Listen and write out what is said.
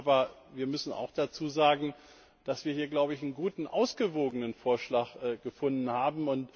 Aber wir müssen auch dazusagen, dass wir hier einen guten, ausgewogenen Vorschlag gefunden haben.